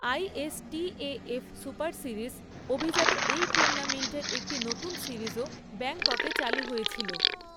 ISTAF superseries, অভিজাত এই টুর্নামেন্টের একটি নতুন সিরিজও ব্যাংককে চালু হয়েছিল।